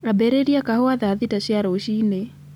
ambĩrĩria kahũa thaa thita cia rũcinĩ